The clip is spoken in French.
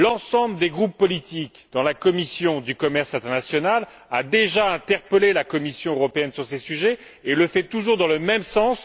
L'ensemble des groupes politiques, au sein de la commission du commerce international, a déjà interpellé la Commission européenne sur ces sujets et le fait toujours dans le même sens.